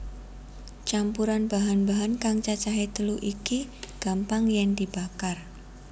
Campuran bahan bahan kang cacahé telu iki gampang yèn dibakar